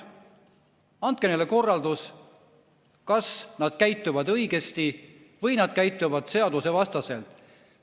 Võtke kätte ja andke korraldus, kas nad käituvad õigesti või nad käituvad seadusevastaselt.